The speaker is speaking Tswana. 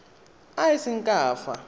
a a seng ka fa